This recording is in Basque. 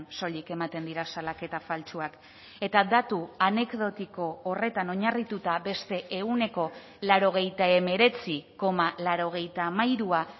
soilik ematen dira salaketa faltsuak eta datu anekdotiko horretan oinarrituta beste ehuneko laurogeita hemeretzi koma laurogeita hamairua